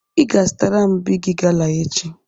Ị ga-azụtara m Bigi gala echi!